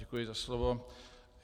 Děkuji za slovo.